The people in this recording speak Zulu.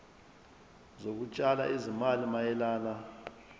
zokutshala izimali mayelana